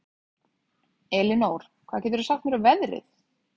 Elinór, hvað geturðu sagt mér um veðrið?